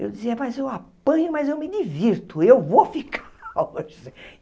Eu dizia, mas eu apanho, mas eu me divirto, eu vou ficar.